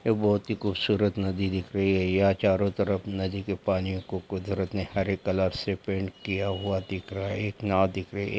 ये बहुत ही खूबसूरत नदी दिख रही है या चारो तरफ नदी के पानी को कुदरत ने हरे कलर से पेंट किया हुआ दिख रहा है एक नाव दिख रही है।